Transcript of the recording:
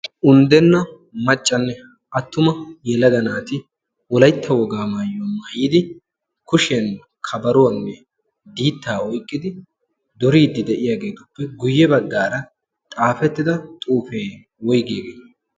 unddenna maccanne attuma yelada naati wolaitta wogaa maayyo maayidi kushiyan kabaruwaanne diittaa oyqqidi duriiddi de'iyaageetuppe guyye baggaara xaafettida xuufee woyggiyaagee